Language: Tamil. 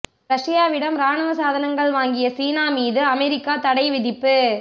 ரஷ்யாவிடம் ராணுவ சாதனங்கள் வாங்கிய சீனா மீது அமெரிக்கா தடை விதிப்பு